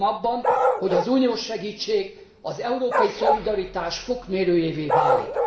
Bízom abban, hogy az uniós segítség az európai szolidaritás fokmérőjévé válik.